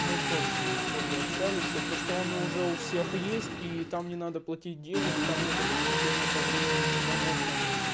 мы тоже по дискорду общались потому что он и уже у всех есть и там не надо платить денег там нет ограничения по времени туда можно